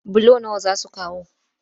Bulo nawa za su kawo?